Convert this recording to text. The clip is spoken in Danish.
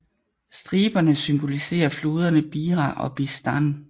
Striberne symboliserer floderne Bira og Bidzhan